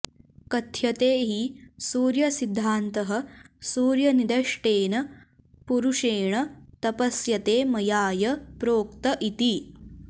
कथ्यते हि सूर्यसिद्धान्तः सूर्यनिदष्टेन पुरुषेण तपस्यते मयाय प्रोक्त इति